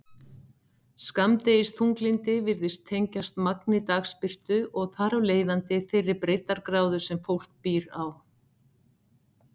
Skammdegisþunglyndi virðist tengjast magni dagsbirtu og þar af leiðandi þeirri breiddargráðu sem fólk býr á.